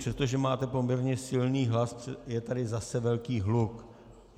Přestože máte poměrně silný hlas, je tady zase velký hluk.